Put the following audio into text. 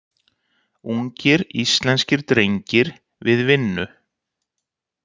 Ungir íslenskir drengir við vinnu.